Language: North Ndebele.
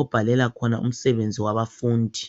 obhalela khona umsebenzi wabafundi.